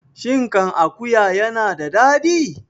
Shin kan akuwa yana da daɗi?